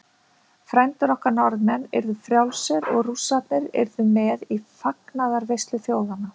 Frændur okkar Norðmenn yrðu frjálsir og Rússarnir yrðu með í fagnaðarveislu þjóðanna.